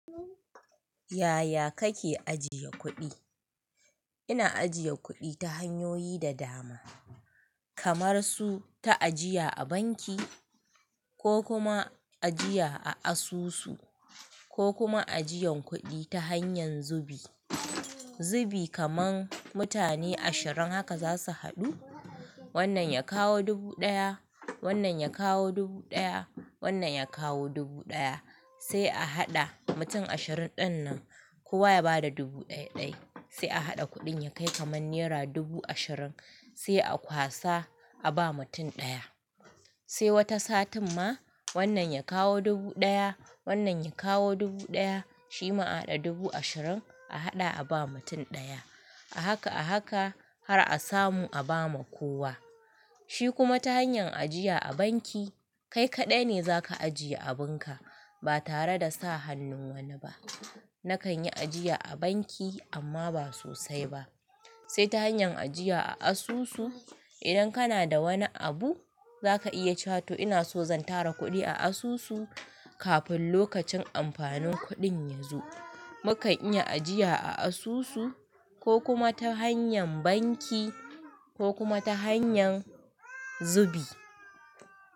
Yaya kake ajiye kuɗi? Ina ajiye kuɗi ta hanyoyi da dama, kamar su ta ajiya a banki ko kuma ajiya a asusu ko kuma ajiyan kuɗi ta hanyar zubi. Zubi kaman mutane ashirin haka zasu haɗu, wannan ya kawo dubu ɗaya, wannan ya kawo dubu ɗaya, wannan ya kawo dubu ɗaya sai a haɗa mutum ashirin dinnan kowa ya bada dubu ɗai-ɗai sai a haɗa kuɗin ya kai kamar nera dubu ashirin sai a kwasa a ba mutum ɗaya. Sai wata satin ma wannan ya kawo dubu ɗaya, wannan ya kawo dubu ɗaya shi ma a haɗa dubu ashirin a haɗa a ba mutum ɗaya. A haka a haka har a samu a ba ma kowa. Shi kuma ta hanyar ajiya a banki kai kaɗai ne zaka ajiye abun ka ba tare da sa hannun wani ba. Sai wata satin ma wannan ya kawo dubu ɗaya, wannan ya kawo dubu ɗaya shi ma a haɗa dubu ashirin a haɗa a ba mutum ɗaya. Sai ta hanyar ajiya a asusu idan kana da wani abu zaka iya cewa to ina so zan tara kudi a asusu kafin lokacin amfanin kudin ya zo. Mu kan iya ajiya a asusu. Ko kuma ta hanyar banki ko kuma ta hanyar zubi.